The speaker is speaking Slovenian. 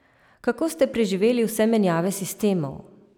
Kako ste preživeli vse menjave sistemov?